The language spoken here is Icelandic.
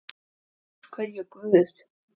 Af hverju Guð?